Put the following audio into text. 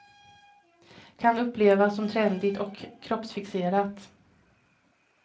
Kan upplevas som trendigt och kroppsfixerat.